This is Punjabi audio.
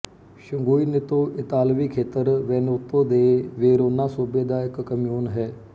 ਸੰਗੁਇਨੇਤੋ ਇਤਾਲਵੀ ਖੇਤਰ ਵੈਨੇਤੋ ਦੇ ਵੇਰੋਨਾ ਸੂਬੇ ਦਾ ਇੱਕ ਕਮਿਉਨ ਹੈ